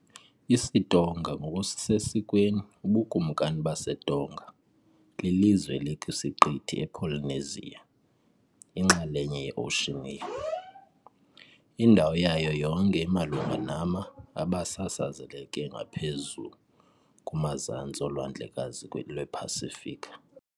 IsiTonga, ngokusesikweni uBukumkani baseTonga , lilizwe elikwisiqithi ePolynesia, inxalenye yeOceania . Indawo yayo yonke imalunga nama , abasasazeke ngaphezu kumazantsi oLwandlekazi lwePasifiki .